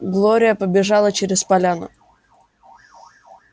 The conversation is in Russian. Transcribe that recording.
глория побежала через поляну